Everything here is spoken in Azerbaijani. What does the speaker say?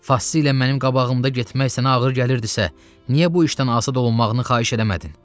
Fassilə mənim qabağımda getmək sənə ağır gəlirdisə, niyə bu işdən azad olunmağını xahiş eləmədin?